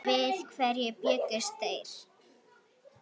Við hverju bjuggust þeir?